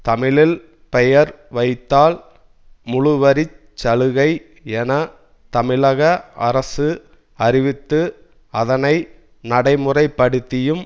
தமிழில் பெயர் வைத்தால் முழுவரிச் சலுகை என தமிழக அரசு அறிவித்து அதனை நடைமுறைப்படுத்தியும்